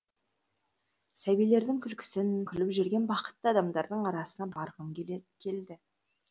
сәбилердің күлкісін күліп жүрген бақытты адамдардың арасына барғым келді